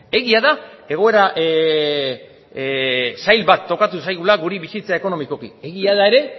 egia da egoera zail bat tokatu zaigula guri bizitzea ekonomikoki egia da ere